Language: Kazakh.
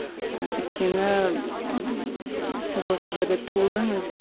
ы өйткені ммм сіз осы жерде туылдыңыз